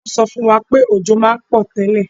Wo so fún wa pé òjò ma n pò tẹ́lẹ̀